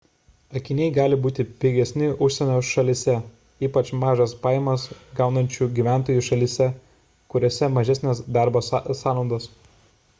akiniai gali būti pigesni užsienio šalyje ypač mažas pajamas gaunančių gyventojų šalyse kuriose mažesnės darbo sąnaudos